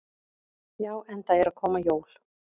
Já, enda eru að koma jól.